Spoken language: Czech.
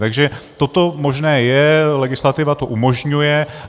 Takže toto možné je, legislativa to umožňuje.